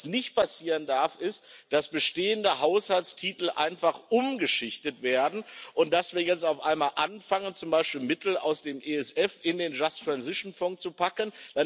Was nicht passieren darf, ist, dass bestehende Haushaltstitel einfach umgeschichtet werden und dass wir jetzt auf einmal anfangen, zum Beispiel Mittel aus dem ESF in den Fonds für einen gerechten Übergang zu packen.